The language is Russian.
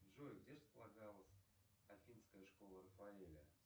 джой где располагалась афинская школа рафаэля